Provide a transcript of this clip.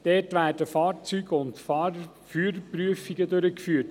Dort werden Fahrzeug- und Führerprüfungen durchgeführt.